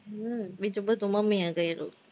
હમ બીજું બધું મમ્મી એ કરું